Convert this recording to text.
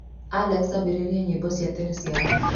alexa ambĩrĩria nyĩmbo cia tene cia rock